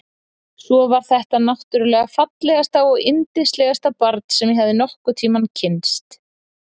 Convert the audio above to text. Svo var þetta náttúrlega fallegasta og yndislegasta barn sem ég hafði nokkurn tímann kynnst.